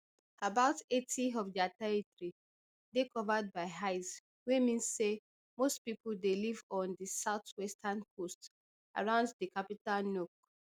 about eighty of dia territory dey covered by ice wey mean say most pipo dey live on di southwestern coast around di capital nuuk